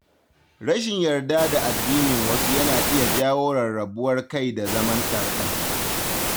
Rashin yarda da aƙidar/addinin wasu yana iya jawo rarrabuwar kai da zaman ɗar-ɗar.